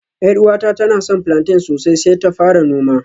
Yar uwata tana son plantain sosai sai ta fara noma